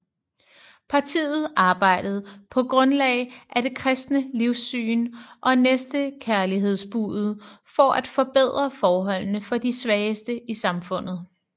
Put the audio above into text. Partiet arbejdede på grundlag af det kristne livssyn og næstekærlighedsbudet for at forbedre forholdene for de svageste i samfundet